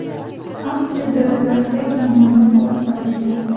Avstriya dalalarida kenguruni ko‘rib qolishdi.